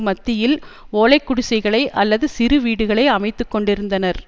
மத்தியில் ஓலை குடிசைகளை அல்லது சிறு வீடுகளை அமைத்துக்கொண்டிருந்தனர்